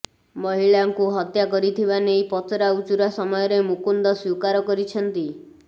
ମହିଳାଙ୍କୁ ହତ୍ୟା କରିଥିବା ନେଇ ପଚରା ଉଚୁରା ସମୟରେ ମୁକୁନ୍ଦ ସ୍ବୀକାର କରିଛନ୍ତି